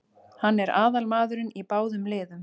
Hann er aðalmaðurinn í báðum liðum.